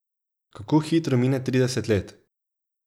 Kako hitro mine trideset let!